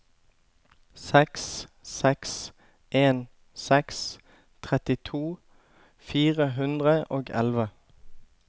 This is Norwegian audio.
seks seks en seks trettito fire hundre og elleve